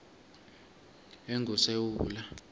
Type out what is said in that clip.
engusewula